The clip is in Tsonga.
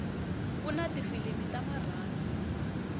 kuna tifilimu ta marhandzu